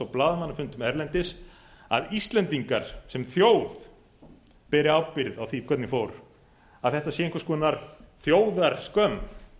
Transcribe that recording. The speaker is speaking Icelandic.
blaðamannafundum erlendis að íslendingar sem þjóð beri ábyrgð á því hvernig fór að þetta sé einhvers konar þjóðarskömm